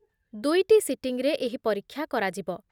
ଦୁଇଟି ସିଟିଂରେ ଏହି ପରୀକ୍ଷା କରାଯିବ ।